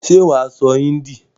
Ṣé wà á sọ hindi?